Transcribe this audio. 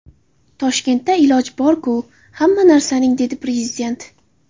Toshkentda iloji bor-ku hamma narsaning” dedi Prezident.